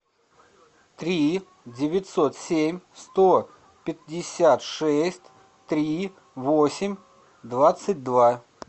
три девятьсот семь сто пятьдесят шесть три восемь двадцать два